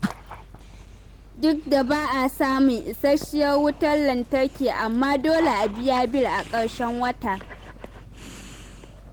Duk da ba a samun isasshiyar wutar lantarki, amma dole a biya bil a ƙarshen wata.